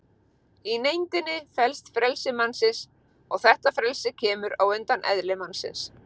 Í neindinni felst frelsi mannsins og þetta frelsi kemur á undan eðli mannsins.